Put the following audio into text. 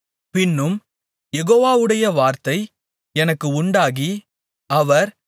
பின்னும் யெகோவாவுடைய வார்த்தை எனக்கு உண்டாகி அவர்